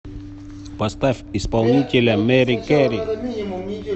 поставь исполнителя меррикери